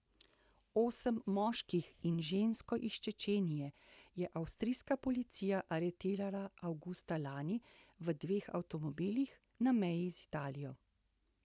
Osem moških in žensko iz Čečenije je avstrijska policija aretirala avgusta lani v dveh avtomobilih na meji z Italijo.